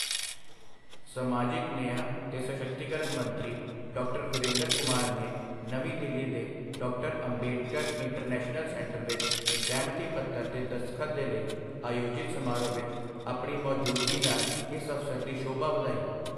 ਸਮਾਜਿਕ ਨਿਆਂ ਤੇ ਸਸ਼ਕਤੀਕਰਣ ਮੰਤਰੀ, ਡਾ. ਵੀਰੇਂਦਰ ਕੁਮਾਰ ਨੇ ਨਵੀਂ ਦਿੱਲੀ ਦੇ ਡਾ. ਅੰਬੇਡਕਰ ਇੰਟਰਨੈਸ਼ਨਲ ਸੈਂਟਰ ਵਿੱਚ ਸਹਿਮਤੀ ਪੱਤਰ ਤੇ ਦਸਤਖਤ ਦੇ ਲਈ ਆਯੋਜਿਤ ਸਮਾਰੋਹ ਵਿੱਚ ਆਪਣੀ ਮੌਜੂਦਗੀ ਨਾਲ ਇਸ ਅਵਸਰ ਦੀ ਸ਼ੋਭਾ ਵਧਾਈ।